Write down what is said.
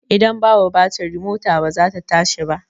Ida babu batiri mota ba zata tashi ba